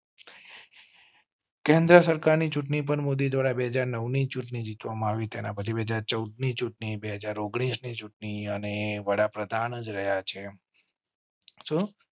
કેન્દ્ર સરકાર ની ચૂંટણી પર મોદી દ્વારા બે હજાર નૌ ની ચૂંટણી જીતવા માં આવી તેના પછી બે હાજર ચૌદ ની ચૂંટણી બે હાજર ઓગણીસ ની ચૂંટણી અને વડાપ્રધાન રહ્યા છે.